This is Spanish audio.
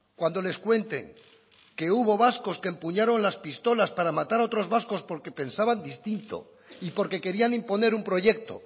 cuando les cuenten que hubo vascos que empuñaron las pistolas para matar a otros vascos porque pensaban distinto y porque querían imponer un proyecto